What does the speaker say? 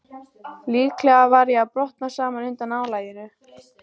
Líklega var ég að brotna saman undan álaginu.